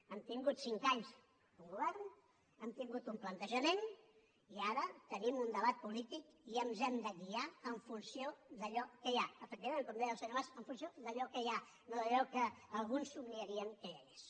han tingut cinc anys un govern han tingut un plantejament i ara tenim un debat polític i ens hem de guiar en funció d’allò que hi ha efectivament com deia el senyor mas en funció d’allò que hi ha no d’allò que alguns somniarien que hi hagués